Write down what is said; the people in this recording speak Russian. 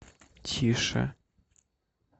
тише